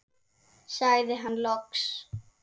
sagði hann loks.